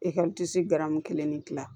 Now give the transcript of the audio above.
garamu kelen ne gilan